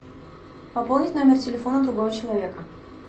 пополнить номер телефона другого человека